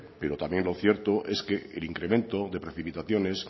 pero también lo cierto es que el incremento de precipitaciones